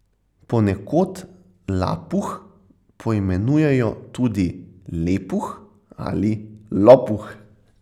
Ponekod lapuh poimenujejo tudi lepuh ali lopuh.